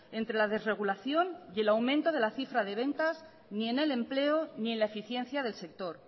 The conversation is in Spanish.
entre la desregulación y el aumento de la cifra de ventas ni en el empleo ni en la eficiencia del sector